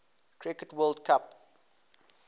cricket world cup